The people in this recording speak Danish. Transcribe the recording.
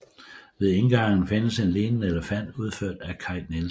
Ved indgangen findes en liggende elefant udført af Kai Nielsen